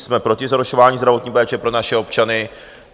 Jsme proti zhoršování zdravotní péče pro naše občany.